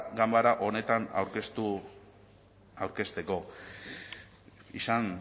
ganbera honetan aurkezteko izan